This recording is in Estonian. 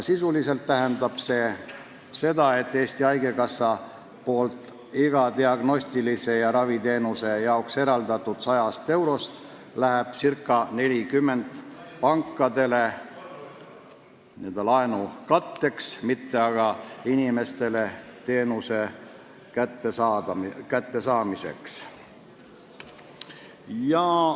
Sisuliselt tähendab see seda, et igast 100 eurost, mis Eesti Haigekassa on diagnostika ja raviteenuse jaoks eraldanud, läheb ca 40 eurot pankadele laenu katteks, mitte inimestele teenuse osutamiseks.